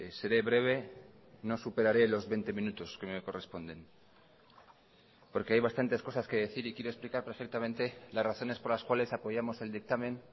seré breve no superare los veinte minutos que me corresponden porque hay bastantes cosas que decir y quiero explicar perfectamente las razones por las cuales apoyamos el dictamen